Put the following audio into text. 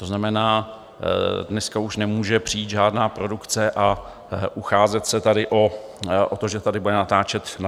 To znamená, dneska už nemůže přijít žádná produkce a ucházet se tady o to, že tady bude natáčet film.